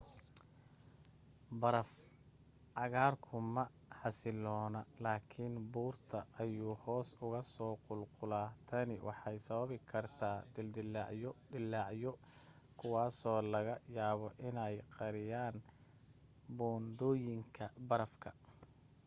baraf-cagaarku ma xasiloona, laakin buurta ayuu hoos uga soo qulqula.tani waxay sababi kartaa dildilaacyo dillaacyo kuwaasoo laga yaabo inay qariyaan buundooyinka barafka